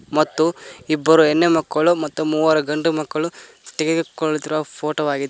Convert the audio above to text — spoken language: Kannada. ಮತ್ತು ಇಬ್ಬರು ಹೆಣ್ಣು ಮಕ್ಕಳು ಮತ್ತು ಮೂವರು ಗಂಡು ಮಕ್ಕಳು ತೆಗೆದುಕೊಳ್ಳುತ್ತಿರುವ ಫೋಟೋ ವಾಗಿದೆ.